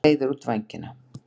Breiðir út vængina.